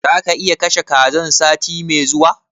Zaka iya kashe kazan sati mai zuwa?